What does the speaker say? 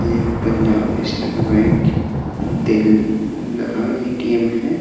ये Punjab National Bank ATM. है |